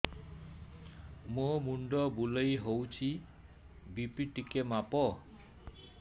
ମୋ ମୁଣ୍ଡ ବୁଲେଇ ହଉଚି ବି.ପି ଟିକେ ମାପ